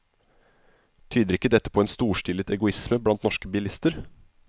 Tyder ikke dette på en storstilet egoisme blant norske bilister?